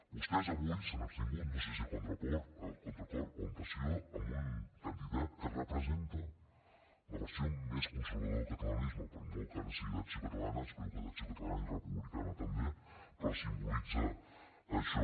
vostès avui s’han abstingut no sé si a contracor o amb passió amb un candidat que representa la versió més conservadora del catalanisme per molt que ara sigui d’acció catalana espero que d’acció catalana i republicana també però simbolitza això